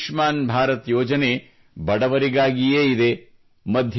ಈ ಆಯುಷ್ಮಾನ್ ಭಾರತ್ ಯೋಜನೆ ಬಡವರಿಗಾಗಿಯೇ ಇದೆ